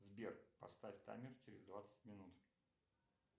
сбер поставь таймер через двадцать минут